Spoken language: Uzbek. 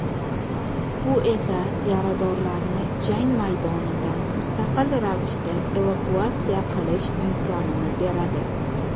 bu esa yaradorlarni jang maydonidan mustaqil ravishda evakuatsiya qilish imkonini beradi.